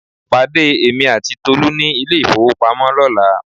Pàdé èmi àti Tolú ní ilé ìfowópamọ́ lọ́la